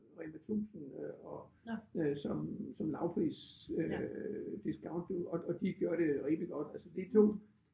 Rema 1000 øh og øh som som lavpris øh discount du og og de gør det rigtig godt altså de 2